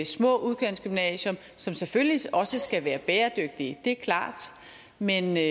små udkantsgymnasier som selvfølgelig også skal være bæredygtige det er klart men